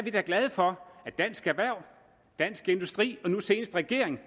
glade for at dansk erhverv dansk industri og nu senest regeringen